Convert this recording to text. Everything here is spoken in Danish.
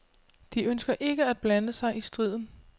De ønsker ikke at blande sig i striden.